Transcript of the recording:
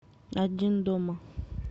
один дома